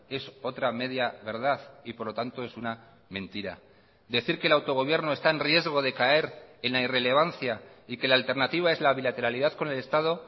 es otra media verdad y por lo tanto es una mentira decir que el autogobierno está en riesgo de caer en la irrelevancia y que la alternativa es la bilateralidad con el estado